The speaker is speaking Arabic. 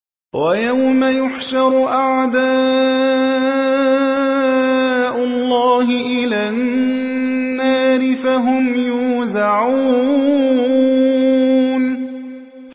وَيَوْمَ يُحْشَرُ أَعْدَاءُ اللَّهِ إِلَى النَّارِ فَهُمْ يُوزَعُونَ